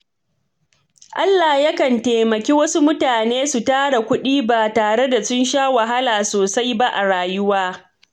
Allah Yakan taimaki wasu mutanen su tara kuɗi ba tare da sun sha wahala sosai ba a rayuwa.